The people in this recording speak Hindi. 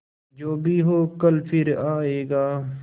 जो भी हो कल फिर आएगा